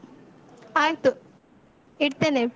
ಆಯ್ತು ಇಡ್ತೇನೆ.